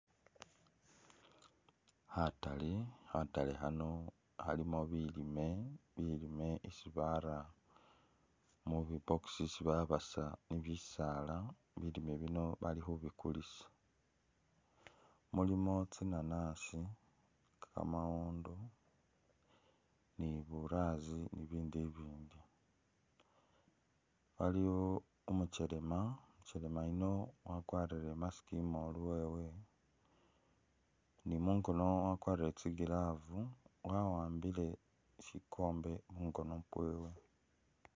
Khataale nga khataale khano khalimo bilime, isi bara mubi box isi babasa ni'bisaala, bilime bino bali khubikulisa, mulimo tsinanasi, kamawondo ni bulaasi, aliwo umuchelema, umuchelema yuuno wakwarile imask imolu wewe, ni'mungono wakwarile tsi'glove wa'ambile sikombe mungono kwewe